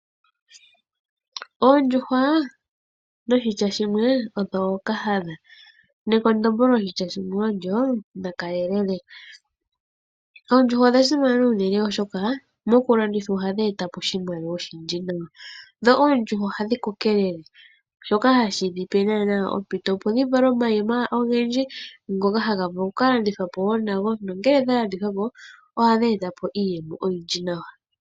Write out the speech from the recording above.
Oondjuhwa odho ookahadha. Oondjuhwa odha simana unene, oshoka uuna dha landithwa ohadhi eta po oshimaliwa oshindji. Oondjuhwa ohadhi kokelele shoka hashi dhi pe ompito opo dhi vale omayi ogendji ngoka haga vulu okulandithwa po nongele ga landithwa po ohadhi eta po iiyemo oyindji nawa.